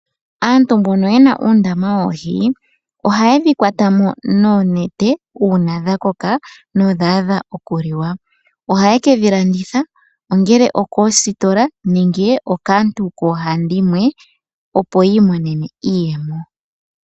Aantu mbono ye na uundama woohi ohaye dhi kwata mo noonete uuna dha koka nodha adha okuliwa. Ohaye ke dhi landitha ongele okoositola nenge okaantu ohandimwe opo yi monene mo iiyemo.